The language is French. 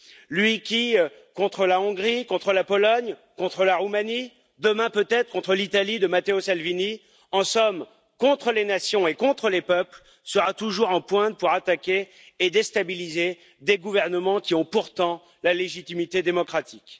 Lui qui, contre la Hongrie, contre la Pologne, contre la Roumanie, demain peut être contre l'Italie de Matteo Salvini, en somme contre les nations et contre les peuples, sera toujours en pointe pour attaquer et déstabiliser des gouvernements qui ont pourtant la légitimité démocratique.